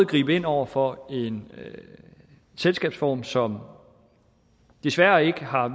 gribe ind over for en selskabsform som desværre ikke har